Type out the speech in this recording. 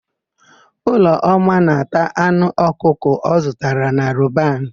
Ụlọma na-ata anụ ọkụkọ ọ zụtara na Roban.